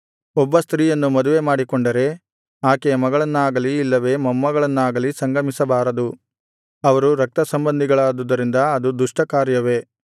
ಒಬ್ಬ ಸ್ತ್ರೀಯನ್ನು ಮದುವೆಮಾಡಿಕೊಂಡರೆ ಆಕೆಯ ಮಗಳನ್ನಾಗಲಿ ಇಲ್ಲವೇ ಮೊಮ್ಮಗಳನ್ನಾಗಲಿ ಸಂಗಮಿಸಬಾರದು ಅವರು ರಕ್ತಸಂಬಂಧಿಗಳಾದುದರಿಂದ ಅದು ದುಷ್ಟ ಕಾರ್ಯವೇ